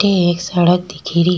ते एक सड़क दिखी री।